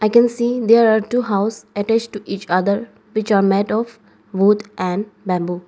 i can see there are two house attached to each other which are made of wood and bamboo.